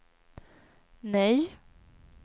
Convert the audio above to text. nej